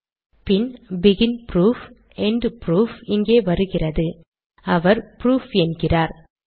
அப்புறம் begin proof end proof இங்கே வருகிறதுஅவர் புரூஃப் என்கிறார்